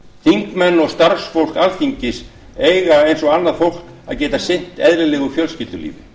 þingmenn og starfsfólk alþingis eiga eins og annað fólk að geta sinnt eðlilegu fjölskyldulífi